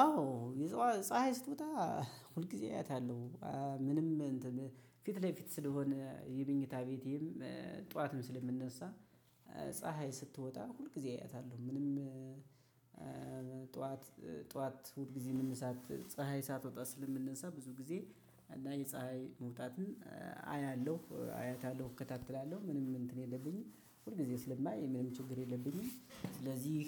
አዎ ፀሀይ ስትወጦ ሁልጊዜ አያታለው። ምንም ፊት ለፊት ስለሆነ የመኝታ ቤቴም ጠዋትም ስለምንነሳ ፀሀይ ስትወጣ ሁል ጊዜ አያታለሁ። ምንም ጠዋት ጠዋት ሁል ጊዜ መነሳት ፀሀይ ሳትወጣ ስለምንሳ ብዙ ጊዜ እና የፀሀይ መውጣትን አያለሁ አያታለሁ እከታተላለሁ። ምንም እንትን የለብኝም ሁል ጊዜ ስለማይ ምንም ችግር የለብኝም። ስለዚህ